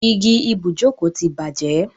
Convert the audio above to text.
Igi ibùjókòó ti bàjẹ́.